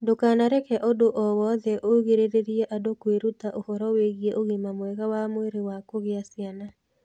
Ndũkanareke ũndũ o wothe ũgirĩrĩrie andũ kwĩruta ũhoro wĩgiĩ ũgima mwega wa mwĩrĩ wa kugĩa ciana.